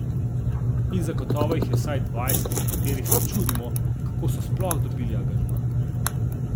In zagotovo jih je vsaj dvajset, ob katerih se čudimo, kako so sploh dobili angažma.